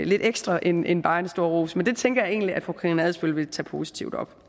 lidt ekstra end end bare en stor ros men det tænker jeg egentlig at fru karina adsbøl vil tage positivt op